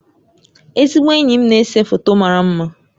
Ezigbo enyi m na-ese foto mara mma